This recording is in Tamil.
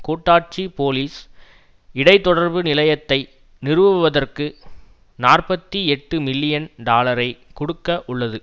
கூட்டாட்சி போலீஸ் இடைத்தொடர்பு நிலையத்தை நிறுவுவதற்கு நாற்பத்தி எட்டு மில்லியன் டாலரைக் கொடுக்க உள்ளது